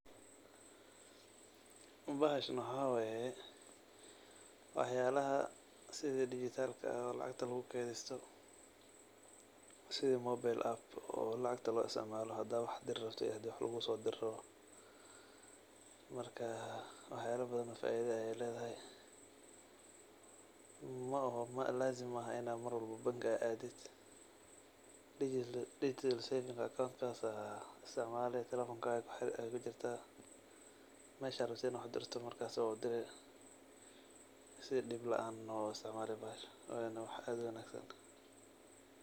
Bahashan waxaa waaya waxyaalaha sidi digitalka ah oo lacagta lugu kedaysto, sidi mobile app oo lacagta loo istacmaalo hadaa wax dir rabto iyo hadii wax lugu soodiro. Marka, waxyaalo badan oo faido ayaay leedahay. Mo'oho, laazim maaxa ina marwalbo bangi aad aadid digital saving account kaas istacmaali, telefonkaagi ayaay ku jirta, meshaa aad rabto inad wax u dirto markas waa u diri, si dhib lacaan eh waa u istacmaali bahasahnoo ahna wax aad u wanaagsan